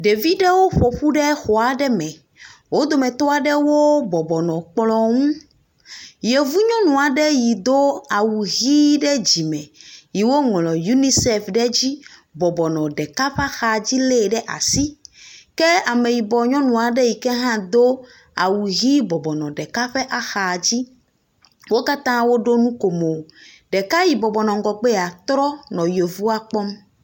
Ɖevi ɖewo ƒoƒu ɖe xɔa aɖe me. Wo dometɔ aɖewo bɔbɔ nɔ kplɔ nu. Yevu nyɔnu aɖe yi do awu ʋi ɖe dzime yi wo siwo ŋlɔ UNISEF ɖe edzi bɔbɔ nɔ ɖeka ƒe aza dzi lè ɖe asi. Ke ame yibɔ nyɔnua ɖe yi ke hã do awu ʋi bɔbɔ nɔ ɖeka ƒe axa dzi. Wò katã wò ɖo nuko mo. Ɖeka yi bɔbɔ nɔ ŋgɔ gbea trɔ nɔ yevua kpɔm.